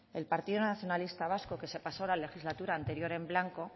el partido nacionalista vasco que se pasó la legislatura anterior en blanco